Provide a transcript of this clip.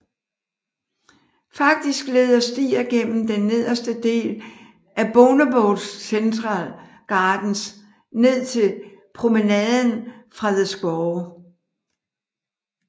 Faktisk leder stier gennem den nederste del af Bournemouth Central Gardens ned til Promenaden fra The square